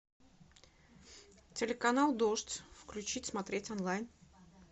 телеканал дождь включить смотреть онлайн